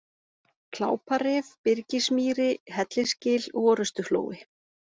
Kláparif, Byrgismýri, Hellisgil, Orustuflói